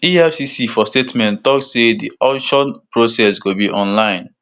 efcc for statement tok say di auction process go be online